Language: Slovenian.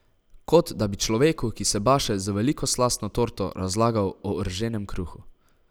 Kot da bi človeku, ki se baše z veliko slastno torto, razlagal o rženem kruhu.